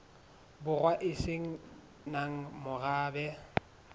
borwa e se nang morabe